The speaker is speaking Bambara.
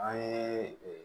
An ye